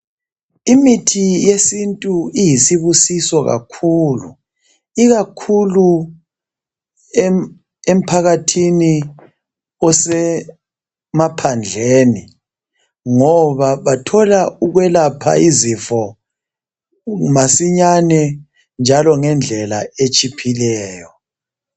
Imithi yesintu iyisibusiso kakhulu ikakhulu emphakathini osemaphandleni ngoba bathola ukwelapha izifo masinyane njalo ngendlela etshiphileyo.